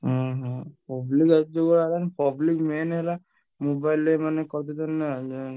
ଓହୋ, public ଯୁଗ ହେଲାଣି public main ହେଲାଣି mobile